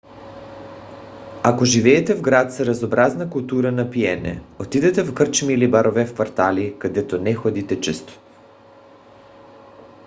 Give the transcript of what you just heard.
ако живеете в град с разнообразна култура на пиене отидете в кръчми или барове в квартали където не ходите често